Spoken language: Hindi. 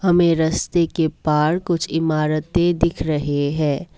हमें रस्ते के पार कुछ इमारतें दिख रहे हैं।